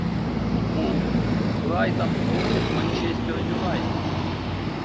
футбол брайтон против манчестер юнайтед